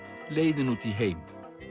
leiðin út í heim